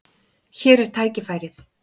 Hér er tækifærið.